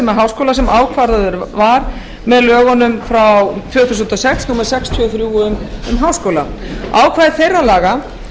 háskóla sem ákvarðaður var með lögunum frá tvö þúsund og sex númer sextíu og þrjú um háskóla ákvæði þeirra laga